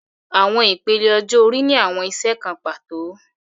Awọn ipele ọjọ-ori ni awọn iṣẹ kan pato